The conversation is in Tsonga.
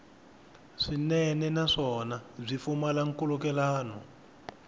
swinene naswona byi pfumala nkhulukelano